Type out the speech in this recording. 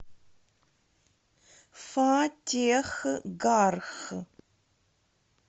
фатехгарх